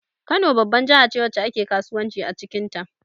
Kano babban jahace wacce ake kasuwanci acikin ta